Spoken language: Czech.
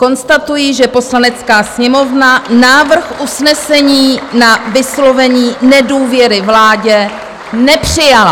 Konstatuji, že Poslanecká sněmovna návrh usnesení na vyslovení nedůvěry vládě nepřijala.